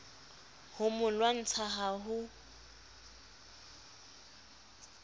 ho mo lwantsha ha ho